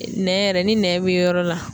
Nɛn yɛrɛ ni nɛn be yɔrɔ la